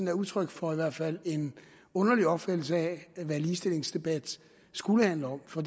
er udtryk for i hvert fald en underlig opfattelse af hvad ligestillingsdebat skulle handle om for